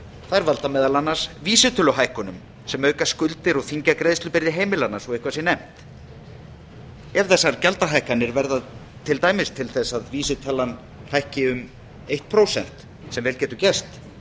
þær valda meðal annars vísitöluhækkunum sem auka skuldir og þyngja greiðslubyrði heimilanna svo eitthvað sé nefnt ef þessar gjaldahækkanir verða til dæmis til að vísitalan hækki um eitt prósent sem vel getur gerst